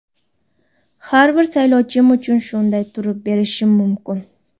Har bir saylovchim uchun shunday turib berishim mumkin.